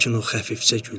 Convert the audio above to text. Lakin o xəfifcə güldü.